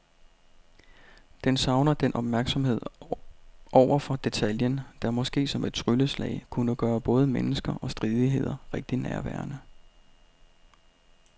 Den savner den opmærksomhed over for detaljen, der måske som et trylleslag kunne gøre både mennesker og stridigheder rigtig nærværende.